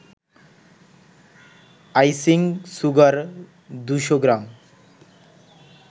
icing sugar ২০০ gram